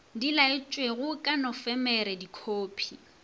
di laetšwego ka nofemere dikhophi